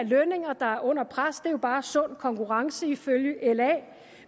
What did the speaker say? lønninger der er under pres det er jo bare sund konkurrence ifølge la